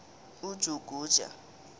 ujuguja